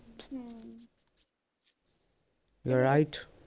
right